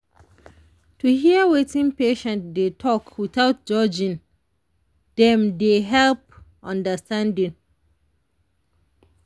to hear wetin patient dey talk without judging dem dey help understanding.